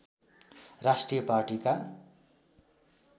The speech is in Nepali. राष्ट्रिय पार्टीका